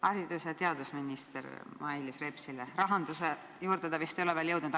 Haridus- ja teadusminister Mailis Repsile on küsimus, rahanduse juurde ei ole ta vist veel jõudnud.